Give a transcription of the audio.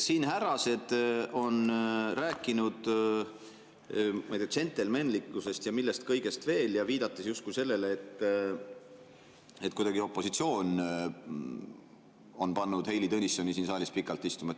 Siin härrased on rääkinud džentelmenlikkusest ja millest kõigest veel, viidates justkui sellele, et opositsioon on kuidagi pannud Heili Tõnissoni siin saalis pikalt istuma.